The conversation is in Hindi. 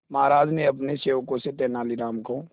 महाराज ने अपने सेवकों से तेनालीराम को